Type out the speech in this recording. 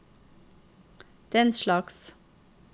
denslags